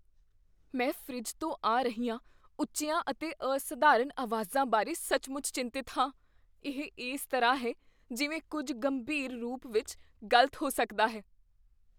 ਮੈਂ ਫਰਿੱਜ ਤੋਂ ਆ ਰਹੀਆਂ ਉੱਚੀਆਂ ਅਤੇ ਅਸਧਾਰਨ ਆਵਾਜ਼ਾਂ ਬਾਰੇ ਸੱਚਮੁੱਚ ਚਿੰਤਤ ਹਾਂ, ਇਹ ਇਸ ਤਰ੍ਹਾਂ ਹੈ ਜਿਵੇਂ ਕੁੱਝ ਗੰਭੀਰ ਰੂਪ ਵਿੱਚ ਗ਼ਲਤ ਹੋ ਸਕਦਾ ਹੈ।